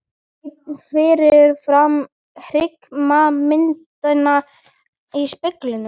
Einn fyrir framan hryggðarmyndina í speglinum.